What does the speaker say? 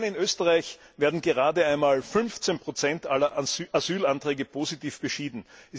Allein in Österreich werden gerade einmal 15 aller Asylanträge positiv beschieden.